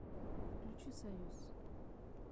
включи союз